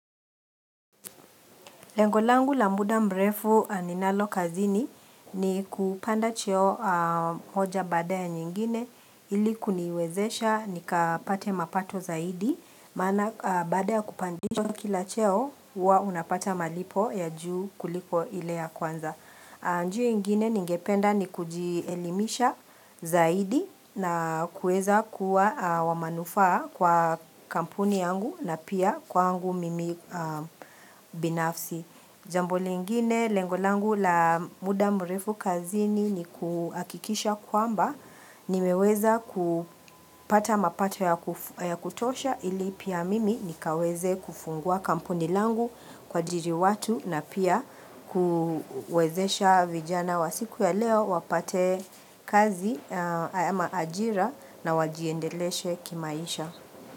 Lengo langu la muda mrefu ninalo kazini ni kupanda cheo moja baada nyingine iliku niwezesha nikapate mapato zaidi Mana baada ya kupandishwa kila cheo uwa unapata malipo ya juu kuliko ilea kwanza njia ingine ningependa ni kujielimisha zaidi na kueza kuwa wamanufa kwa kampuni yangu na pia kwa angu mimi binafsi jambo lingine lengolangu la muda mrefu kazini ni kuakikisha kwamba ni meweza kupata mapato ya kutosha ili pia mimi nikaweze kufungua kampuni langu kwa jiri watu na pia kuwezesha vijana wa siku ya leo wapate kazi ayama ajira na wajiendeleshe kimaisha.